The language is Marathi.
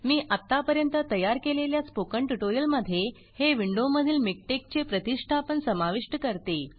मी अत्तापर्यंत तयार केलेल्या स्पोकन ट्यूटोरियल मध्ये हे विण्डो मधील मिकटेक चे प्रतिष्ठापन समाविष्ट करते